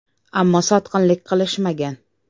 Ammo sotqinlik qilishmagan.